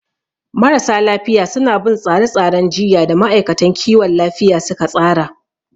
Marasa lafiya suna bin tsare-tsaren jiyya da ma'aikatan kiwon lafiya suka tsara.